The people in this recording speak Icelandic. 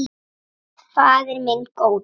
Faðir minn góði.